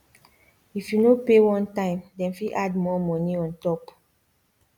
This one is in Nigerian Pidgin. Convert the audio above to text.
if you no pay one time dem fit add more money on top